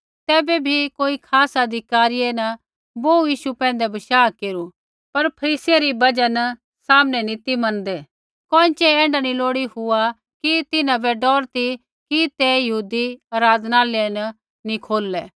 तैबै भी कोई खास अधिकारियै न बोहू यीशु पैंधै बशाह केरू पर फरीसियै री बजहा न सामने नी ती मनदै कोइँछ़ै ऐण्ढा नैंई लोड़ी हुआ कि तै तिन्हां बै डौर ती कि तै यहूदी आराधनालय नी खोललै